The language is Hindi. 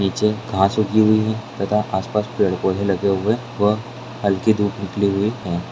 नीचे घास उगी हुई है तथा आसपास पेड़-पौधे लगे हुए व हल्की धूप निकली हुई है।